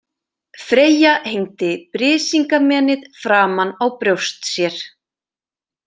Freyja hengdi Brísingamenið framan á brjóst sér.